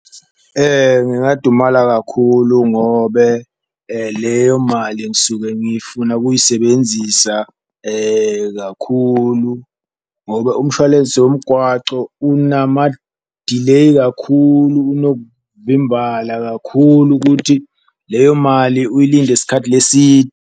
Ngingadumala kakhulu ngobe leyo mali ngisuke ngifuna ukuyisebenzisa kakhulu ngobe umshwalense womgwaco unamadileyi kakhulu, unokuvimbala kakhulu kuthi leyo mali uyilinde isikhathi .